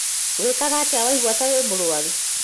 Wĩkaga atĩa waigua ta wĩ mũrũaru?